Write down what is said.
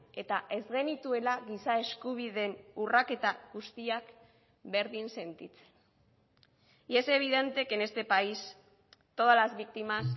eta ez genituela giza eskubideen urraketa guztiak berdin sentitzen y es evidente que en este país todas las víctimas